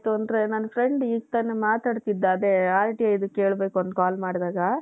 ಅಂದ್ರೆ ನನ್ನ friend ಈಗ ತಾನೇ ಮಾತಾಡ್ತಿದ್ದ ಅದೇ RTIದು ಕೇಳಬೇಕು ಅಂತ call ಮಾಡ್ದಾಗ .